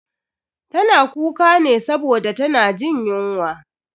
Tana kuka ne saboda tana jin yunwa.